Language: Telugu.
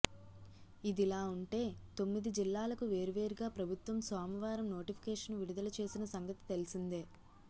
ఇదిలా ఉంటే తొమ్మిది జిల్లాలకు వేర్వేరుగా ప్రభుత్వం సోమవారం నోటిఫికేషన్ విడుదల చేసిన సంగతి తెలిసిందే